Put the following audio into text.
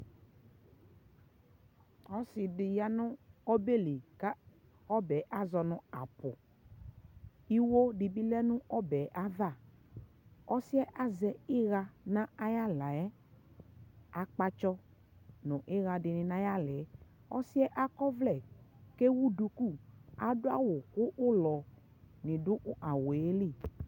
ɔsiidi yanʋ ɔbɛli ka ɔbɛ azɔnʋ apʋ, iwɔ dibi lɛnʋ ɔbɛ aɣa, ɔsiiɛ azɛ iyaa nʋ ayi alaɛ, akpatsɔ nʋ iyaa dini nʋ ayi alaɛ, ɔsiiɛ akɔ ɔvlɛ kʋ ɛwʋ dʋkʋ, adʋ awʋ kʋ ʋlɔni dʋ awʋɛli